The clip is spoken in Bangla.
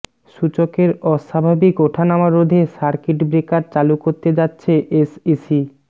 সূচকের অস্বাভাবিক উঠানামা রোধে সার্কিট ব্রেকার চালু করতে যাচ্ছে এসইসি